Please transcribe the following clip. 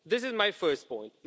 This is my first point.